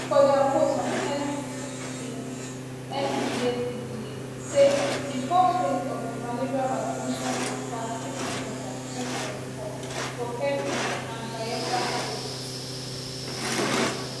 for dia post on x di nphcda say di first phase of di malaria vaccination go start dis december 2024 for kebbi and bayelsa states